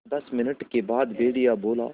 दस मिनट के बाद भेड़िया बोला